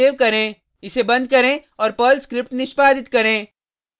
file save करें इसे बंद करें और पर्ल स्क्रिप्ट निष्पादित करें